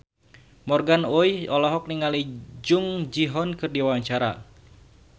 Morgan Oey olohok ningali Jung Ji Hoon keur diwawancara